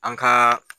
An ka